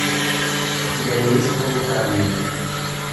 у тебя есть планетариум